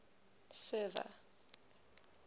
server